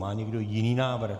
Má někdo jiný návrh?